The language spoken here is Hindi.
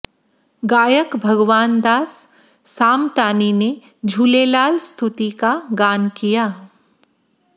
गायक भगवान दास सामतानी ने झूलेलाल स्तुति का गान किया